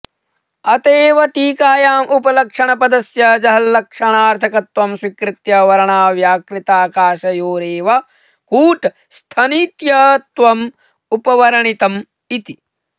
अत एव टीकायाम् उपलक्षणपदस्य जहल्लक्षणार्थकत्वं स्वीकृत्य वर्णाव्याकृताकाशयोरेव कूटस्थनित्यत्वमुपवर्णितमिति